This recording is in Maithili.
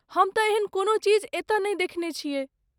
हम त एहेन कोनो चीज एतय नहि देखने छियै ।